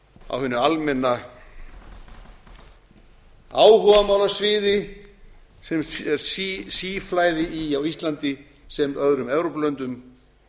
á hinu almenna áhugamálasviði sem er síflæði í á íslandi sem öðrum evrópulöndum